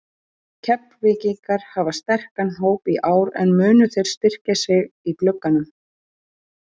Keflvíkingar hafa sterkan hóp í ár en munu þeir styrkja sig í glugganum?